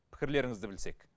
пікірлеріңізді білсек